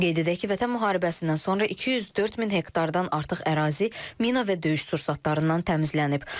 Qeyd edək ki, Vətən müharibəsindən sonra 204 min hektardan artıq ərazi mina və döyüş sursatlarından təmizlənib.